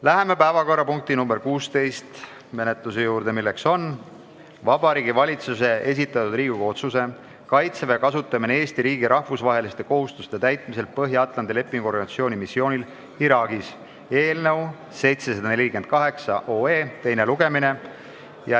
Läheme päevakorrapunkti nr 16 juurde, milleks on Vabariigi Valitsuse esitatud Riigikogu otsuse "Kaitseväe kasutamine Eesti riigi rahvusvaheliste kohustuste täitmisel Põhja-Atlandi Lepingu Organisatsiooni missioonil Iraagis" eelnõu 748 teine lugemine.